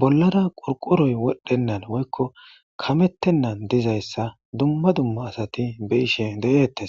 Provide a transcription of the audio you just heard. bollara qoriqoroy wodhdhennan woykko kamettennan dizayssa dumma dumma asati be'ishe de'eettes